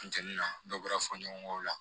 Funteni na dɔ bɔra fɔɲɔgɔnkɔw la